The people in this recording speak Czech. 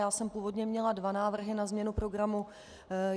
Já jsem původně měla dva návrhy na změnu programu.